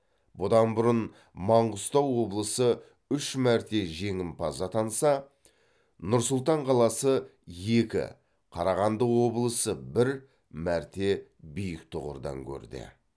бұдан бұрын маңғыстау облысы үш мәрте жеңімпаз атанса нұр сұлтан қаласы екі қарағанды облысы бір мәрте биік тұғырдан көрде